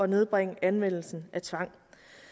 nedbringe anvendelsen af tvang